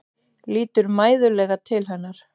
Lítur mæðulega til hennar.